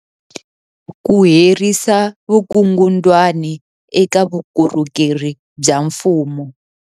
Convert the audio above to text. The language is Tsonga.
Ku herisa vukungundwani eka vukorhokeri bya mfumo.